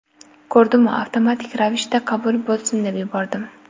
Ko‘rdimu avtomatik ravishda qabul bo‘lsin deb yubordim.